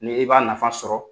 Ni i b'a nafa sɔrɔ